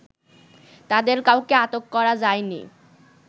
তাদের কাউকে আটক করা যায়নি